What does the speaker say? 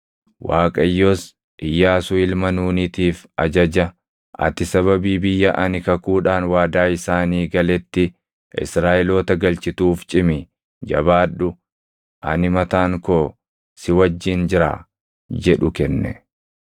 Waaqayyos Iyyaasuu ilma Nuunitiif ajaja, “Ati sababii biyya ani kakuudhaan waadaa isaanii galetti Israaʼeloota galchituuf cimi, jabaadhu; ani mataan koo si wajjin jiraa” jedhu kenne.